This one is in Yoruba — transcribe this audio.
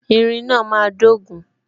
Irin náà máa dogun